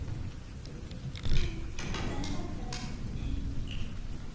Aðeins ein þeirra er stærri en Vetrarbrautin okkar.